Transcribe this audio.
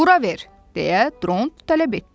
Bura ver, deyə Dront tələb etdi.